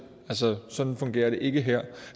sådan fungerer det ikke her